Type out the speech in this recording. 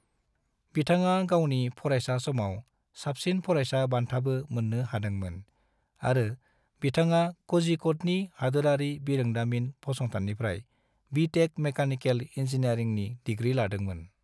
बिथाङा गावनि फरायसा समाव साबसिन फरायसा बान्थाबो मोन्नो हादोंमोन आरो बिथाङा कोझिकोडनि हादोरानि बिरोंदामिन फसंथाननिफ्राय बि.टेक. मेकानिकेल इनजिनियारिंनि दिग्रि लादोंमोन।